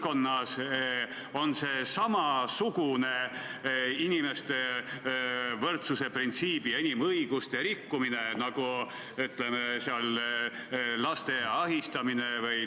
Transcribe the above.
Mina olen siiamaani aru saanud, et me teeme eelnõusid inimeste jaoks, et nende tegevused oleksid paremini võimalikud.